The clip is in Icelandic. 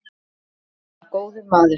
Jóhann var góður maður.